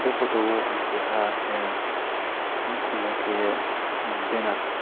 bo photo o ang keha ahh nuhkung o ke banner.